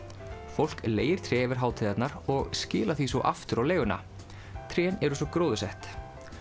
fólk leigir tré yfir hátíðarnar og skilar því svo aftur á leiguna trén eru svo gróðursett